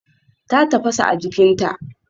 Ta tafasa a jikinta.